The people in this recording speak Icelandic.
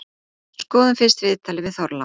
Skoðum fyrst viðtalið við Þorlák.